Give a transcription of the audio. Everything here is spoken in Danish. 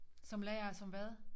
Som lære som hvad